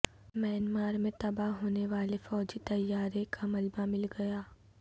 Myanmar میں تباہ ہونے والے فوجی طیارے کا ملبہ مل گیا